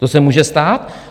To se může stát.